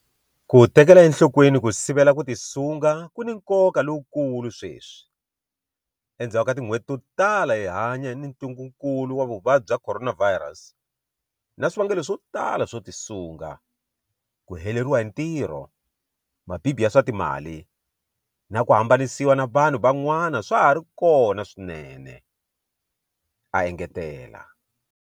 Ku tekela enhlokweni ku sivela ku tisunga ku ni nkoka lowu kulu sweswi, endzhaku ka tin'hweti to tala hi hanya ni ntungukulu wa Vuvabyi bya Khoronavhayirasi, na swivangelo swo tala swo tisunga - ku heleriwa hi ntirho, mabibi ya swa timali na ku hambanisiwa na vanhu van'wana swa ha ri kona swinene, a engetela.